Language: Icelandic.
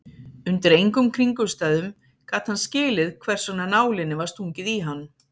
Undir engum kringumstæðum gat hann skilið hversvegna nálinni var stungið í hann.